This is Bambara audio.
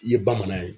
I ye bamanan ye